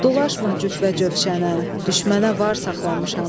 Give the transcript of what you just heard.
Dolaşma cübbə-cöşənə, düşmənə var saxlamışam.